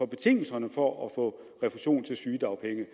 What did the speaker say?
betingelserne for at få refusion for sygedagpenge